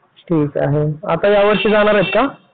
ठीक आहे आता यावर्षी जाणार आहेत का?